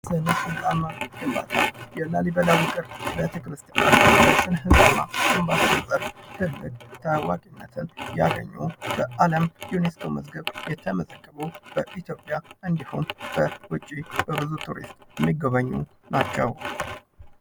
ስነ-ሕንፃና ኪነ-ጥበብ:- የላሊበላ ዉቅር አብያተ ክርስቲያን ታዋቂነትን ያተረፈ ያገኙ የአለም ዩኔስኮ መዝገብ የተመዘገቡ በኢትዮጵያ እንዲሁም በዉጭ በብዙ ቱሪስት የሚጎበኙ ናቸዉ።